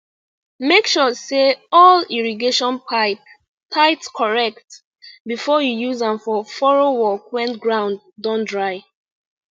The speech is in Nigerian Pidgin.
make sure say all irrigation pipe tight correct before you use am for furrow work when ground don dry